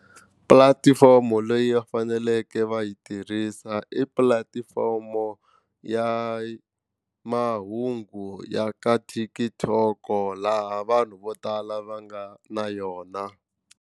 Pulatifomo leyi va faneleke va yi tirhisa i pulatifomo ya mahungu ya ka TikTok laha vanhu vo tala va nga na yona.